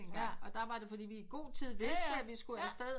Og der var det fordi vi i god tid vidste vi skulle afsted